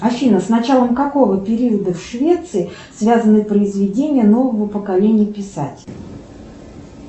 афина с началом какого периода в швеции связаны произведения нового поколения писателей